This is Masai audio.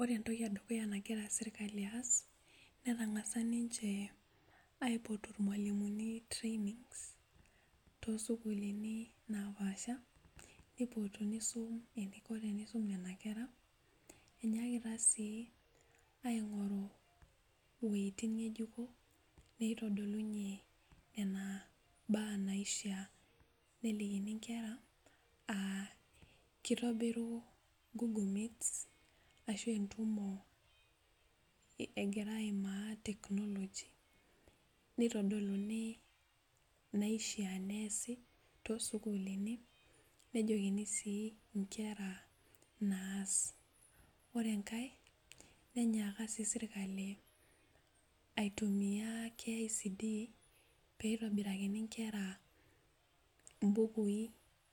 Ore entoki edukuya nagira sirkali aas netang'asa ninche aipotu irmualimuni trainings tosukuluni napaasha neipotu nisum eniko tenisum nena kera enyakita sii aing'oru iwuejitin ng'ejuko neitodolunyie nena baa naishia nelikini inkera uh kitobiru google meets ashu entumo egira aimaa technology neitodoluni naishia neesi tosukuluni nejokini sii inkera naas ore enkae nenyaaka sirkali aitumia KICD peitobirakini inkera imbukui